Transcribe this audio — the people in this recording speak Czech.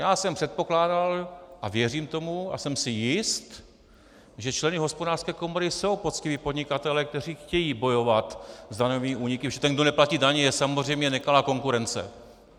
Já jsem předpokládal a věřím tomu a jsem si jist, že členy Hospodářské komory jsou poctiví podnikatelé, kteří chtějí bojovat s daňovými úniky, protože ten, kdo neplatí daně, je samozřejmě nekalá konkurence.